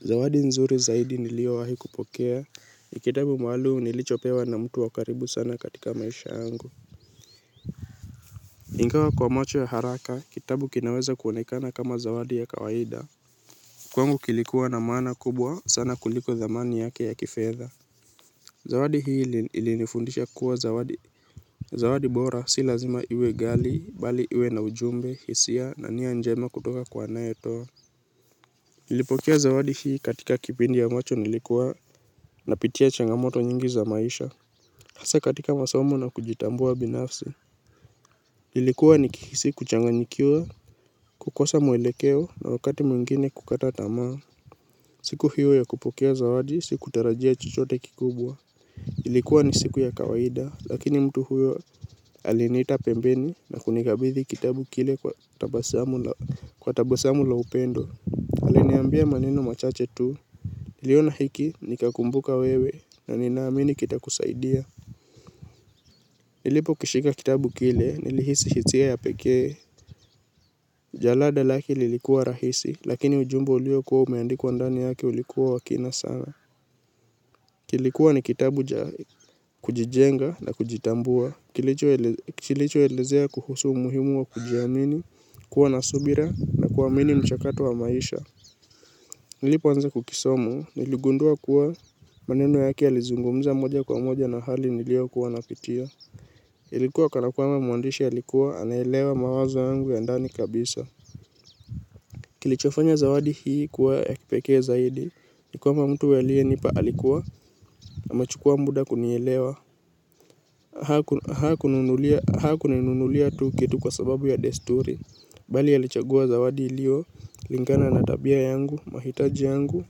Zawadi nzuri zaidi niliowahi kupokea, ni kitabu maalum nilichopewa na mtu wa karibu sana katika maisha yangu. Ingawa kwa macho ya haraka, kitabu kinaweza kuonekana kama zawadi ya kawaida. Kwangu kilikuwa na maana kubwa sana kuliko dhamani yake ya kifedha. Zawadi hii ilinifundisha kuwa zawadi bora si lazima iwe ghali, bali iwe na ujumbe, hisia na nia njema kutoka kwa anaye toa nilipokea zawadi hii katika kipindi ya ambacho nilikuwa napitia changamoto nyingi za maisha. Hasa katika masamo na kujitambua binafsi ilikuwa nikihisi kuchanganyikiwa, kukosa mwelekeo na wakati mwingine kukata tamaa. Siku hiyo ya kupokea zawadi siku tarajia chochote kikubwa. Ilikuwa ni siku ya kawaida lakini mtu huyo aliniita pembeni na kunikabithi kitabu kile kwa tabasamu la upendo. Aliniambia maneno machache tu. Niliona hiki nikakumbuka wewe na ninaamini kitakusaidia. Nilipokishika kitabu kile nilihisi hisia ya pekee. Jalada lake lilikuwa rahisi lakini ujumbe uliokuwa umeandikwa ndani yake ulikuwa wa kina sana. Kilikuwa ni kitabu cha kujijenga na kujitambua kilicho elezea kuhusu umuhimu wa kujiamini kuwa na subira na kuamini mchakato wa maisha. Nilipoanza kukisoma niligundua kuwa maneno yake yalizungumza moja kwa moja na hali nilioyokuwa napitia ilikuwa kana kwamba mwandisha ailikuwa anaelewa mawazo yangu ya ndani kabisa. Kilichofanya zawadi hii kuwa ya kipekee zaidi ni kwamba mtu aliye nipa alikuwa na amechukua muda kunielewa. Hakuninunulia tu kitu kwa sababu ya desturi. Bali alichagua zawadi iliyo, lingana na tabia yangu, mahitaji yangu,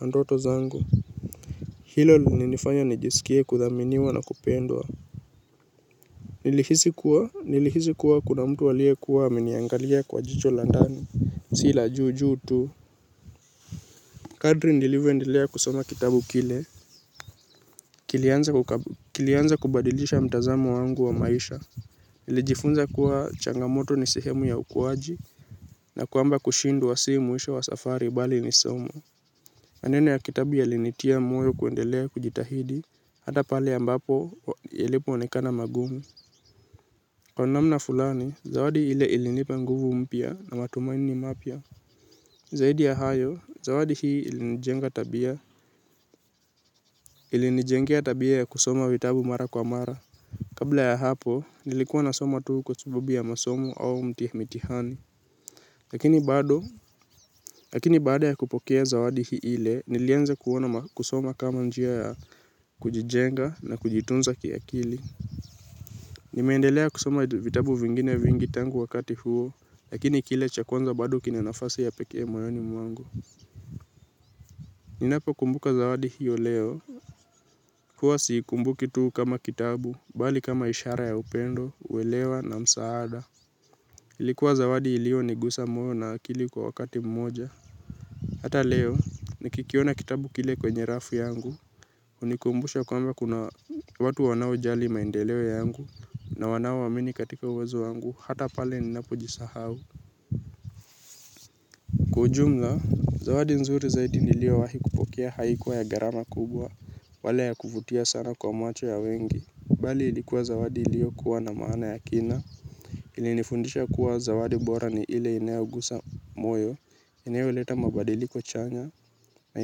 na ndoto zangu. Hilo lininifanya nijisikie kuthaminiwa na kupendwa. Nilihisi kuwa, nilihisi kuwa kuna mtu aliye kuwa ameniangalia kwa jicho la ndani. Si la juu juu tu kadri nilivyoendelea kusoma kitabu kile. Kilianza kubadilisha mtazamo wangu wa maisha nilijifunza kuwa changamoto ni sehemu ya ukuaji. Na kwamba kushindwa si mwisho wa safari bali ni somo maneno ya kitabu yalinitia moyo kuendelea kujitahidi. Hata pale ambapo yalipoonekana magumu. Kwa namna fulani, zawadi ile ilinipa nguvu mpya na matumaini mapya. Zaidi ya hayo, zawadi hii ilinijenga tabia. Ilinijengea tabia ya kusoma vitabu mara kwa mara. Kabla ya hapo, nilikuwa nasoma tu kwa sababu ya masomo au mitihani. Lakini bado, lakini baada ya kupokea zawadi hile nilianza kuona kusoma kama njia ya kujijenga na kujitunza kiakili. Nimeendelea kusoma vitabu vingine vingi tangu wakati huo. Lakini kile cha kwanza bado kina nafasi ya pekee moyoni mwangu. Ninapokumbuka zawadi hiyo leo huwa siikumbuki tu kama kitabu, bali kama ishara ya upendo, uelewa na msaada ilikuwa zawadi iliyo nigusa moyo na akili kwa wakati mmoja. Hata leo, nikikiona kitabu kile kwenye rafu yangu hunikumbusha kwamba kuna watu wanaojali maendeleo yangu na wanaoamini katika uwezo yangu, hata pale ninapojisahau. Kwa jumla, zawadi nzuri zaidi niliyowahi kupokea haikuwa ya gharama kubwa wala ya kuvutia sana kwa macho ya wengi. Bali ilikuwa zawadi iliyokuwa na maana ya kina. Ilinifundisha kuwa zawadi bora ni ile inayogusa moyo inayoleta mabadiliko chanya na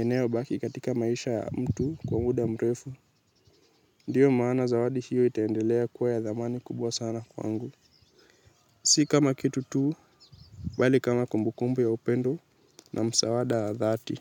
inayobaki katika maisha ya mtu kwa muda mrefu. Ndiyo maana zawadi hiyo itaendelea kuwa ya dhamani kubwa sana kwangu. Si kama kitu tuu bali kama kumbukumbu ya upendo na msaada ya dhati.